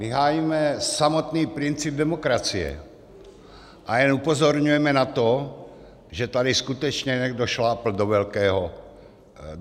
My hájíme samotný princip demokracie a jen upozorňujeme na to, že tady skutečně někdo šlápl do velkého...